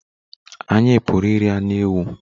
Anyị Pụrụ iri anụ ewu